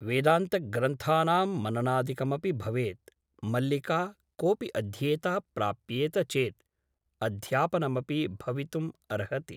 वेदान्तग्रन्थानां मननादिकमपि भवेत् । मल्लिका कोऽपि अध्येता प्राप्येत चेत् अध्यापनमपि भवितुम् अर्हति ।